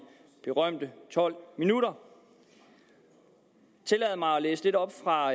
berømte tolv minutter tillad mig at læse lidt op fra